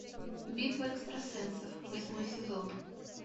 битва экстрасенсов восьмой сезон